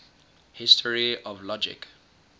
history of logic